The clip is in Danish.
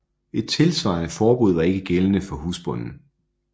Et tilsvarende forbud var ikke gældende for husbonden